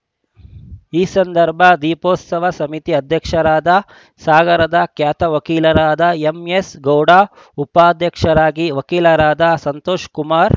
ಈ ಸಂದರ್ಭ ದೀಪೋತ್ಸವ ಸಮಿತಿ ಅಧ್ಯಕ್ಷರಾದ ಸಾಗರದ ಖ್ಯಾತ ವಕೀಲರಾದ ಎಂಎಸ್‌ ಗೌಡ ಉಪಾಧ್ಯಕ್ಷರಾಗಿ ವಕೀಲರಾದ ಸಂತೋಷ್‌ಕುಮಾರ್‌